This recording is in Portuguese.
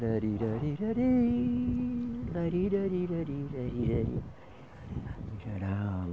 lari, lari, lari, lari, lari, lari, lari, lari